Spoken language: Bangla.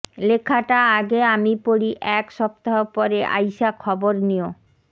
লেখাটা আগে আমি পড়ি এক সপ্তাহ পরে আইসা খবর নিও